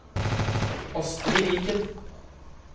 Astri Viken